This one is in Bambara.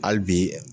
Hali bi